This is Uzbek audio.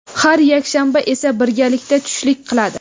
Har yakshanba esa birgalikda tushlik qiladi.